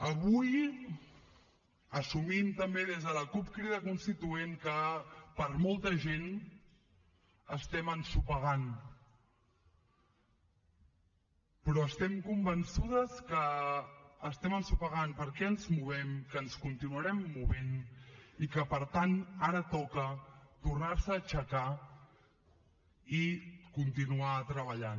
avui assumim també des de la cup crida constituent que per a molta gent estem ensopegant però estem convençudes que estem ensopegant perquè ens movem que ens continuarem movent i que per tant ara toca tornar se a aixecar i continuar treballant